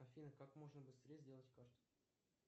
афина как можно быстрее сделать карту